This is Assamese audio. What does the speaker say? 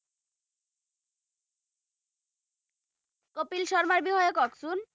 কপিল শৰ্মাৰ বিষয়ে কওকচোন